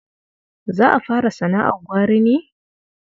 Za ka fara sana'ar gwari ne?